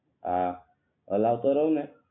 હા હલાવ્તો રહું ને